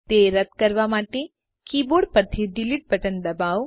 તે રદ કરવા માટે કીબોર્ડ પરથી ડિલીટ બટન દબાવો